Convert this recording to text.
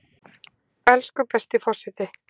Elsku besti forseti!